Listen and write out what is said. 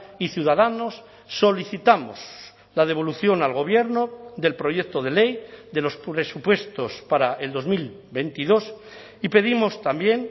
y ciudadanos solicitamos la devolución al gobierno del proyecto de ley de los presupuestos para el dos mil veintidós y pedimos también